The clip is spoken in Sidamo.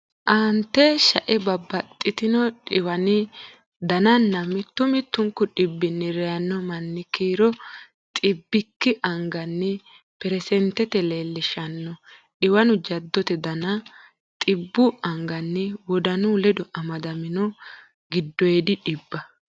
Aante shae babbaxxino dhiwani dananna mittu mittunku dhibbinni reyanno manni kiiro xibbikki anganni perisentete leellishshanno Dhiwanu jaddote Dana Xibbu anganni Wodanu ledo amadamino giddoydi dhibba.